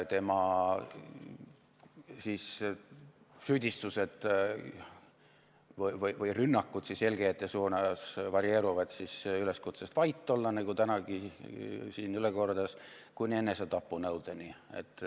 Tema süüdistused või rünnakud eelkäijate suunas varieeruvad üleskutsest vait olla, nagu ta tänagi siin üle kordas, kuni enesetapunõudeni.